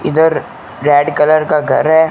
इधर red colour का घर है।